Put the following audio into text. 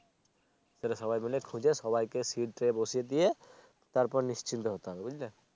সবাই মিলে খুঁজে সবাইকে Sit এ বসিয়ে দিয়ে তারপর নিশ্চিন্ত হতে হবে বুঝলে